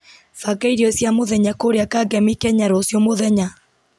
banga irio cia mũthenya kũrĩa kangemi kenya rũciũ mũthenya